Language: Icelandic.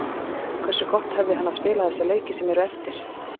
Hversu gott hefði hann að spila þessa leiki sem eru eftir?